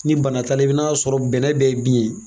Ni bana t'a la i bɛn'a sɔrɔ bɛnɛ bɛɛ ye bin ye.